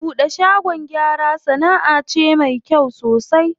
Buɗe shagon gyara sanaʼa ce me kyau sosai.